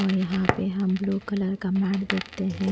और यहाँ पे हम ब्लू कलर का मैट देखते हैं।